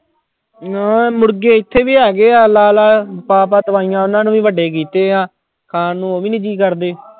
ਹਾਂ ਮੁਰਗੇ ਇੱਥੇ ਵੀ ਹੈਗੇ ਆ ਲਾ-ਲਾ, ਪਾ-ਪਾ ਦਵਾਈਆਂ ਉਹਨਾਂ ਨੂੰ ਵੀ ਵੱਡੇ ਕੀਤੇ ਆ, ਖਾਣ ਨੂੰ ਉਹ ਵੀ ਨੀ ਜੀਅ ਕਰਦੇ।